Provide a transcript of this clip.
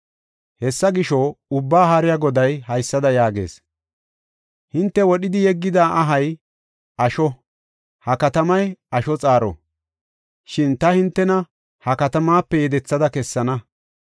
Hessa gisho, Ubbaa Haariya Goday haysada yaagees; “Hinte wodhidi yeggida ahay asho; ha katamay asho xaaro; shin ta hintena ha katamaape yedethada kessana.